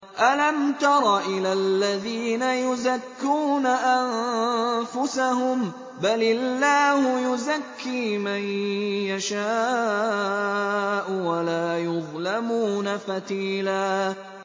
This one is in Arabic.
أَلَمْ تَرَ إِلَى الَّذِينَ يُزَكُّونَ أَنفُسَهُم ۚ بَلِ اللَّهُ يُزَكِّي مَن يَشَاءُ وَلَا يُظْلَمُونَ فَتِيلًا